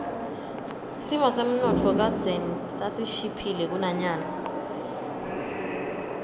simo semnotfo kadzeni sasishiphile kunanyalo